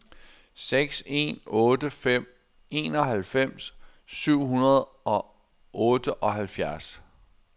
seks en otte fem enoghalvfems syv hundrede og otteoghalvfjerds